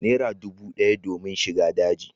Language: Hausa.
Naira dubu d'aya domin shiga dajin